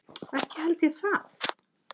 Ekki held ég það.